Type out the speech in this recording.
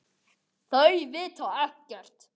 Þau vita ekkert.